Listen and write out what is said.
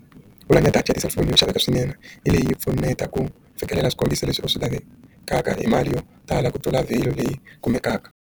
ku engetela data ya tiselifoni yo xaveka swinene leyi pfuneta ku fikelela swikombiso leswi u swi lavekaka hi mali yo tala ku tlula vhinyo leyi kumekaku.